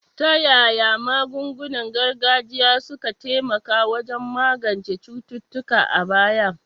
Ta yaya magungunan gargajiya suka taimaka wajen magance cututtuka a baya?